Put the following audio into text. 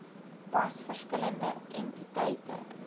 pas verskillende entiteite